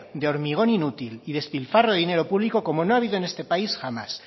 de hormigón inútil y despilfarro de dinero público como no ha habido en este país jamás